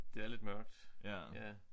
Det er lidt mørkt ja